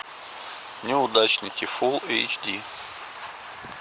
неудачники фул эйч ди